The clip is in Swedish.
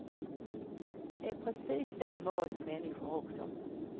Det är precis så med oss människor också.